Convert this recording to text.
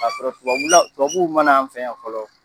K'a sɔrɔ tubabula tubabuw mana an fɛ yan fɔlɔ.